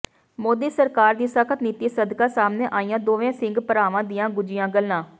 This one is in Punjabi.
ਮੋਦੀ ਸਰਕਾਰ ਦੀ ਸਖ਼ਤ ਨੀਤੀ ਸਦਕਾ ਸਾਹਮਣੇ ਆਈਆਂ ਦੋਵੇਂ ਸਿੰਘ ਭਰਾਵਾਂ ਦੀਆਂ ਗੁੱਝੀਆਂ ਗੱਲਾਂ